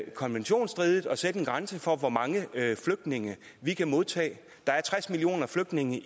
konventionsstridigt at sætte en grænse for hvor mange flygtninge vi kan modtage der er tres millioner flygtninge